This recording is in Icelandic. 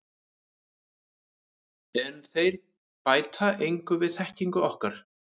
En þeir bæta engu við þekkingu okkar.